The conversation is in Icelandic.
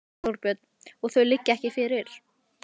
Þorbjörn: Og þau liggja ekki fyrir?